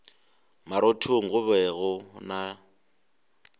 marothong go be go na